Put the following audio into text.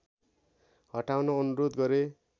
हटाउन अनुरोध गरे